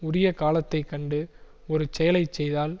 உரிய காலத்தை கண்டு ஒரு செயலை செய்தால்